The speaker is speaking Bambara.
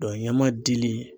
ɲama dili